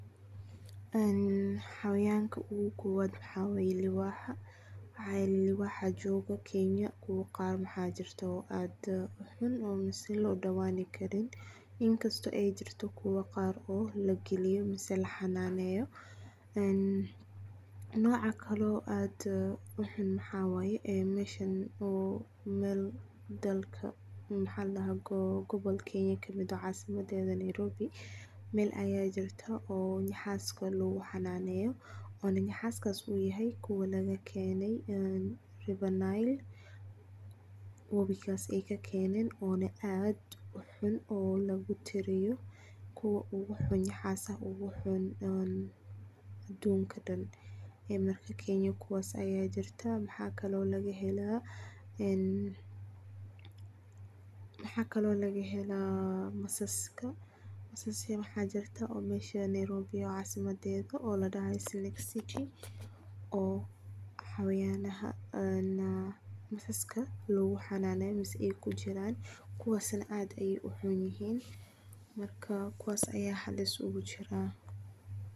En xawayanka ogu kobaad waxa waye libaaxa, maxa yele libaaxa joogo Kenya kubo qaar waxa jirto aad u xun mise loo dhowaani karin inkasto ay jirto kuwo qaar oo lageliyo mise laa xananeeyo, en noca kale oo aad u xun maxa waye meshan Mel oo gobolka Kenya kamid eh oo caasimada Nairobi, Mel aya jirta oo nyaxaaska lugu xanaaneyo ona nyaxaaskas uu yahay kuwa laga keenay River nile webigas ay kakeenen ona aad u xun ona lugu tiriyo kuwa ogu xun nyaxaasaha adunka dhan ee marka Kenya kuwaas aya jirta, maxa kale oo laga helaa en masaaska, masaas waxa jirta Nairobi ee caasimada oo ladhahay snake city oo xawayanaha ee masaaska lugu xanaaneyo mise ay kujiraan kuwaas na aad ayay u xun yihiin, marka kuwaas aya halis ogu jiraa